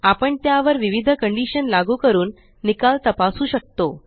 आपण त्यावर विविध कंडीशन लागू करून निकाल तपासू शकतो